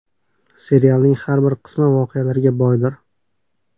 Serialning har bir qismi voqealarga boydir.